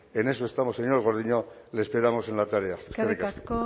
en eso estamos señor gordillo le esperamos en la tarea eskerrik asko